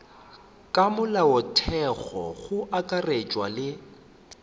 ka molaotheong go akaretšwa le